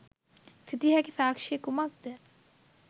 සිතිය හැකි සාක්‍ෂිය කුමක්ද?